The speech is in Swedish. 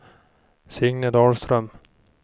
Signe Dahlström